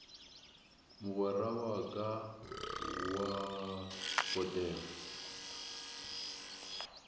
mogwera wa ka wa potego